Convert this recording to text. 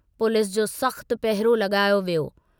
Police जो सख़्तु पहिरो लगायो वियो।